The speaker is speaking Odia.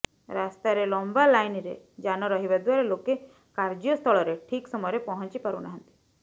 ରାସ୍ତାରେ ଲମ୍ବା ଲାଇନରେ ଯାନ ରହିବା ଦ୍ବାରା ଲୋକେ କାର୍ଯ୍ୟ ସ୍ଥଳରେ ଠିକ୍ ସମୟରେ ପହଞ୍ଚି ପାରୁ ନାହାନ୍ତି